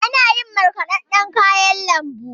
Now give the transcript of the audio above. Ana iya yin marƙadan kayan lambu.